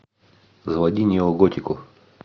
заводи неоготику